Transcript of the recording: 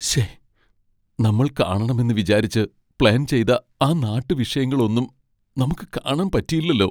ശ്ശേ, നമ്മൾ കാണണം എന്ന് വിചാരിച്ച് പ്ലാൻ ചെയ്ത ആ നാട്ടുവിഷയങ്ങൾ ഒന്നും നമുക്ക് കാണാൻ പറ്റിയില്ലലോ .